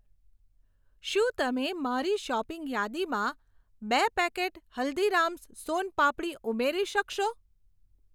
શું તમે મારી શોપિંગ યાદીમાં બે પેકેટ હલ્દીરામ્સ સોન પાપડી ઉમેરી શકશો?